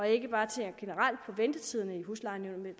ikke bare ser generelt på ventetiderne i huslejenævnene